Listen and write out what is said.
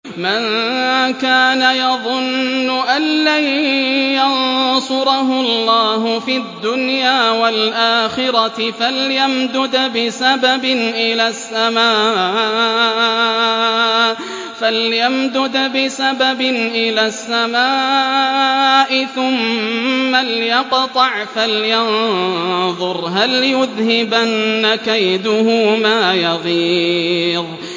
مَن كَانَ يَظُنُّ أَن لَّن يَنصُرَهُ اللَّهُ فِي الدُّنْيَا وَالْآخِرَةِ فَلْيَمْدُدْ بِسَبَبٍ إِلَى السَّمَاءِ ثُمَّ لْيَقْطَعْ فَلْيَنظُرْ هَلْ يُذْهِبَنَّ كَيْدُهُ مَا يَغِيظُ